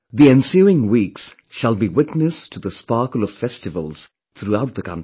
The ensuing weeks shall be witness to the sparkle of festivals throughout the country